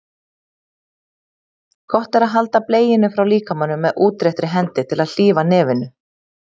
Gott er að halda bleiunni frá líkamanum með útréttri hendi til að hlífa nefinu.